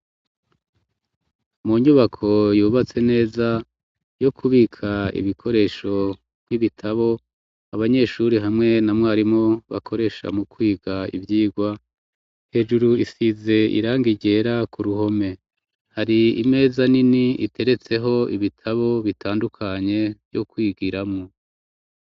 Mu nyubako yubatse neza yo kubika ibikoresho nk'ibitabo abanyeshure hamwe na mwarimu bakoresha mu kwiga ivyigwa hejuru hasize iranga ryera ku ruhome hari imeza nini iteretseho ibitabo bitandukanye vyo kwigiramwo.